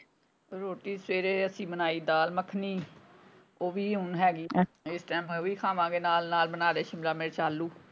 ਰੋਟੀ ਸਵੇਰੇ ਅਸੀਂ ਬਣਾਈ ਦਾਲ ਮੱਖਣੀ ਉਹ ਵੀ ਹੁਣ ਹੈਗੀ ਇੱਕ time ਉਹ ਵੀ ਖਾਵਾਂਗੇ ਨਾਲ ਨਾਲ ਬਨਾਲੇ ਸ਼ਿਮਲਾ ਮਿਰਚ ਆਲੂ।